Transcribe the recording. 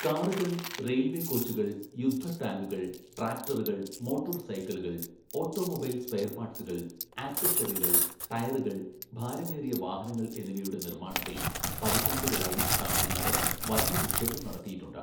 കാറുകൾ, റെയിൽവേ കോച്ചുകൾ, യുദ്ധടാങ്കുകൾ, ട്രാക്ടറുകൾ, മോട്ടോർ സൈക്കിളുകൾ, ഓട്ടോമൊബൈൽ സ്പെയർ പാർട്സുകൾ, ആക്സസറികൾ, ടയറുകൾ, ഭാരമേറിയ വാഹനങ്ങൾ എന്നിവയുടെ നിർമ്മാണത്തിൽ പതിറ്റാണ്ടുകളായി തമിഴ്നാട് വലിയ നിക്ഷേപം നടത്തിയിട്ടുണ്ട്.